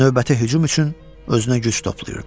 Növbəti hücum üçün özünə güc toplayırdı.